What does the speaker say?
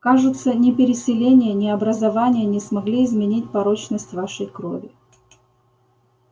кажется ни переселение ни образование не смогли изменить порочность вашей крови